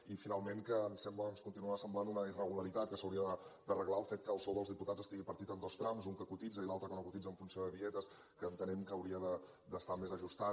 i finalment que ens sembla ens continua semblant una irregularitat que s’hauria d’arreglar el fet que el sou dels diputats estigui partit en dos trams un que cotitza i l’altre que no cotitza en funció de dietes que entenem que hauria d’estar més ajustat